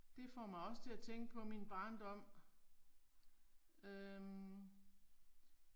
Det får mig også til at tænke på min barndom øh